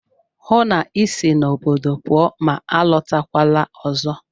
Hụụ na Ị si n'obodo pụọ ma alọtakwala ọzọ!